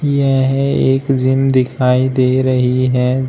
यह है एक जिम दिखाई दे रही है जिस--